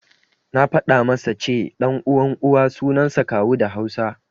Na faɗa masa ce, ɗan uwan Uwa suansa Kawu da Hausa.